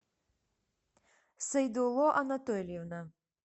сайдулло анатольевна